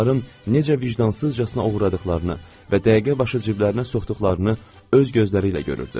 Onların necə vicdansızcasına oğradıqlarını və dəqiqəbaşı ciblərinə soxduqlarını öz gözləriylə görürdü.